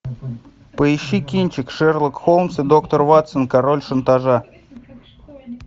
поищи кинчик шерлок холмс и доктор ватсон король шантажа